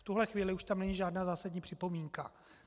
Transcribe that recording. V tuto chvíli už tam není žádná zásadní připomínka.